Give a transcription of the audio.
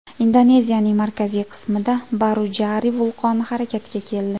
Indoneziyaning markaziy qismida Barujari vulqoni harakatga keldi.